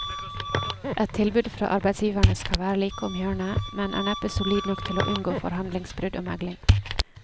Et tilbud fra arbeidsgiverne skal være like om hjørnet, men er neppe solid nok til å unngå forhandlingsbrudd og megling.